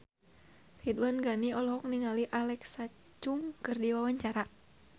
Ridwan Ghani olohok ningali Alexa Chung keur diwawancara